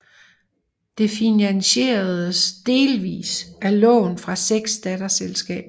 Det finansieredes delvis af lån fra seks datterselskaber